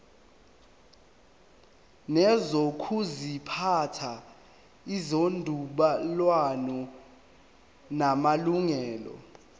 nezokuziphatha ezinobudlelwano namalungelo